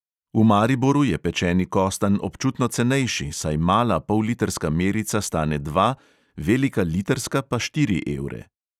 V mariboru je pečeni kostanj občutno cenejši, saj mala pollitrska merica stane dva, velika litrska pa štiri evre.